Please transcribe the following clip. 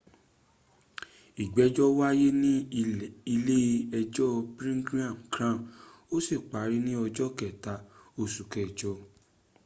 ìgbẹ́jọ́ wáyé ní ilé ẹjọ́ birmingham crown ó sì parí ní ọjọ́ kẹta osù kẹjọ